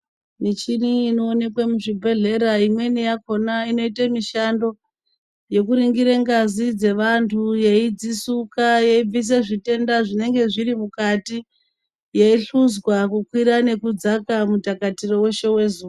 Michina inoonekwe muzvibhodhlera imweni yakhona inoitemishando yekuringire ngazi dzeantu yeidzisuka yeibise zvitenda zvinenge zviri mukati yeihluzwa kukwira nekudzaka mutakatiro weshe wezuwa.